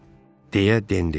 deyə Den dedi.